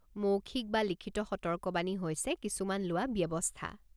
মৌখিক বা লিখিত সতৰ্কবাণী হৈছে কিছুমান লোৱা ব্যৱস্থা।